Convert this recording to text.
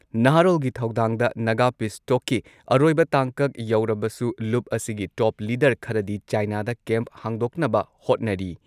ꯅꯍꯥꯔꯣꯜꯒꯤ ꯊꯧꯗꯥꯡꯗ ꯅꯥꯒꯥ ꯄꯤꯁ ꯇꯣꯛꯀꯤ ꯑꯔꯣꯏꯕ ꯇꯥꯡꯀꯛ ꯌꯧꯔꯕꯁꯨ ꯂꯨꯞ ꯑꯁꯤꯒꯤ ꯇꯣꯞ ꯂꯤꯗꯔ ꯈꯔꯗꯤ ꯆꯥꯏꯅꯥꯗ ꯀꯦꯝꯞ ꯍꯥꯡꯗꯣꯛꯅꯕ ꯍꯣꯠꯅꯔꯤ,